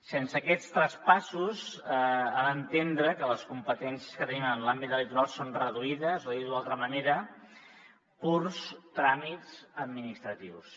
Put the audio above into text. sense aquests traspassos ha d’entendre que les competències que tenim en l’àmbit del litoral són reduïdes o dit d’una altra manera purs tràmits administratius